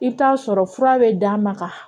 I bɛ t'a sɔrɔ fura bɛ d'a ma ka